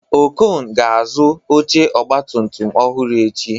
Okon ga-azụ oche ọgbatumtum ọhụrụ echi